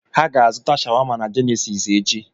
Ha ga-azụta shawama na Jenesis echi.